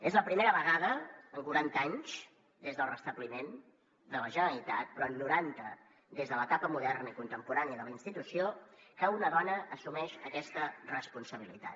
és la primera vegada en quaranta anys des del restabliment de la generalitat però en noranta des de l’etapa moderna i contemporània de la institució que una dona assumeix aquesta responsabilitat